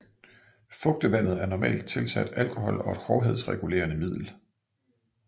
Fugtevandet er normalt tilsat alkohol og et hårdhedsregulerende middel